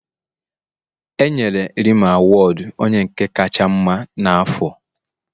E yenre Rema awudu onye nke kacha mma n'afọ.